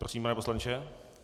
Prosím, pane poslanče.